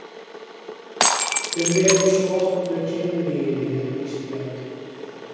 Við lifum svo opnu kynlífi Ísbjörg.